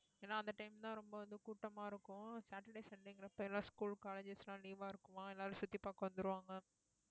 ஏன்னா அந்த time தான் ரொம்ப வந்து கூட்டமா இருக்கும் சாட்டர்டே சண்டேங்கற பேர்ல school colleges எல்லாம் leave ஆ இருக்குமா எல்லாரும சுத்தி பாக்க வந்துருவாங்க